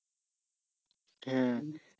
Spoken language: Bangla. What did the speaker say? হ্যাঁ